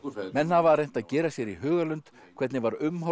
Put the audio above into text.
menn hafa reynt að gera sér í hugarlund hvernig var umhorfs